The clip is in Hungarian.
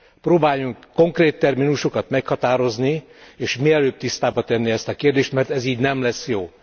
Próbáljunk konkrét terminusokat meghatározni és mielőbb tisztába tenni ezt a kérdést, hogy ez így nem lesz jó!